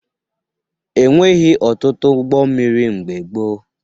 E nweghi ọtụtụ ụgbọ mmiri mgbe gboo